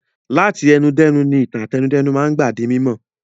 Láti ẹnu dẹ́nu ni ìtàn àtẹnudẹ́nu máa ń gbà di mímọ̀.